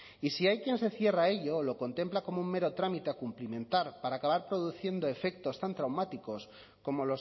y si hay quien se cierra a ello lo contempla como un mero trámite a cumplimentar para acabar produciendo efectos tan traumáticos como